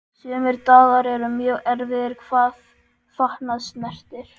Sumir dagar eru mjög erfiðir hvað fatnað snertir.